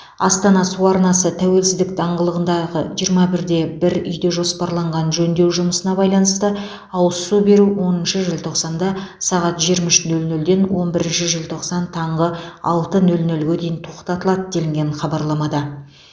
астана су арнасы тәуелсіздік даңғылығындағы жиырма бір де бір үйде жоспарланған жөндеу жұмысына байланысты ауыз су беру оныншы желтоқсанда сағат жиырма үш нөл нөлден он бірінші желтоқсан таңғы алты нөл нөлге дейін тоқтатылады делінген хабарламада